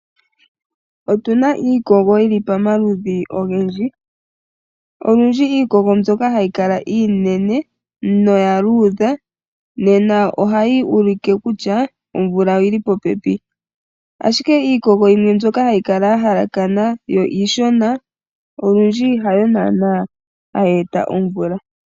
Otuna iikogo yili pamaludhi ogendji. Olundji iikogo mbyoka hayi kala iinene, noya luudha, nena ohayi ulike kutya omvula oyili popepi. Ashike iikogo yimwe mbyoka hayi kala ya halakana, yo iishona, olundji hayo naana hayi eta omvula.